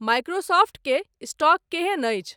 Microsoft के stock केहन अछि